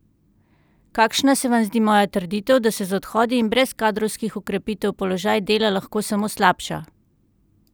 Kakšna se vam zdi moja trditev, da se z odhodi in brez kadrovskih okrepitev položaj Dela lahko samo slabša?